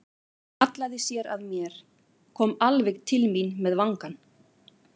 Hún hallaði sér að mér, kom alveg til mín með vangann.